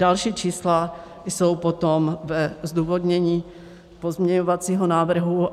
Další čísla jsou potom ve zdůvodnění pozměňovacího návrhu.